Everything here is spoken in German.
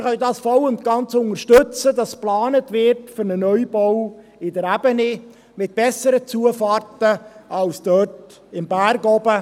Wir können voll und ganz unterstützen, dass für einen Neubau in der Ebene geplant wird, mit besseren Zufahrten als dort am Berg oben.